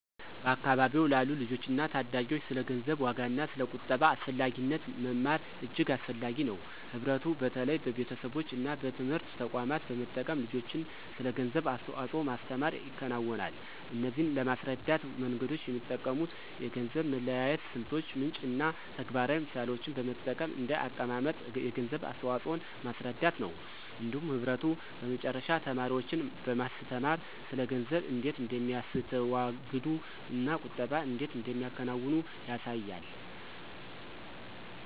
በአካባቢዎ ላሉ ልጆችና ታዳጊዎች ስለ ገንዘብ ዋጋና ስለ ቁጠባ አስፈላጊነት መማር እጅግ አስፈላጊ ነው። ህብረቱ በተለይ በቤተሰቦች እና በትምህርት ተቋማት በመጠቀም ልጆችን ስለ ገንዘብ አስተዋጽኦ ማስተምር ይከናወናል። እነዚህን ለማስረዳት መንገዶች የሚጠቀሙት የገንዘብ መለያየት ስልቶች፣ ምንጭ እና ተግባራዊ ምሳሌዎችን በመጠቀም እንደ አቀማመጥ የገንዘብ አስተዋፅኦን ማስረዳት ነው። እንዲሁም ህብረቱ በመጨረሻ ተማሪዎችን በማስተማር ስለ ገንዘብ እንዴት እንደሚያስተዋግዱ እና ቁጠባን እንዴት እንደሚያከናውኑ ያሳያል።